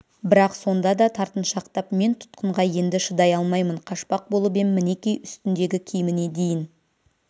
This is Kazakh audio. бірақ сонда да тартыншақтап мен тұтқынға енді шыдай алмаймын қашпақ болып ем мінекей үстіндегі киіміне дейін